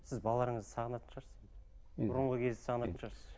сіз балаларыңызды сағынатын шығарсыз бұрынғы кезді сағынатын шығарсыз